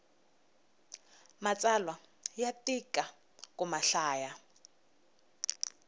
matsalwa ya tika ku mahlaya